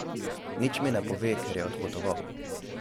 Nič mi ne pove, ker je odpotoval.